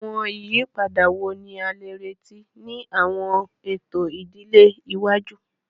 Awọn iyipada wo ni a le reti ni awọn eto idile iwaju?